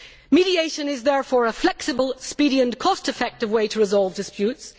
Mediation is therefore a flexible, speedy and cost effective way to resolve disputes